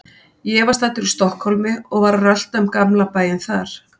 Ég var staddur í Stokkhólmi og var að rölta um gamla bæinn þar.